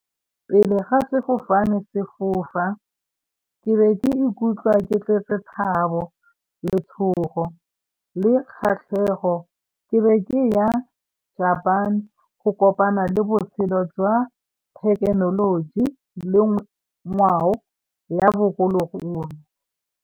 Pele ga sefofane se fofa ke ne ke ikutlwa ke tletse thabo, letshogo le kgatlhego. Ke re ke ya go kopana le botshelo jwa thekenoloji le ngwao ya bogologolo.